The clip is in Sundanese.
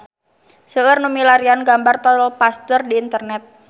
Seueur nu milarian gambar Tol Pasteur di internet